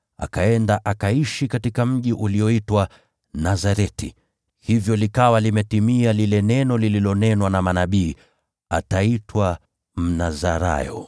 akaenda akaishi katika mji ulioitwa Nazareti. Hivyo likawa limetimia neno lililonenwa na manabii, “Ataitwa Mnazarayo.”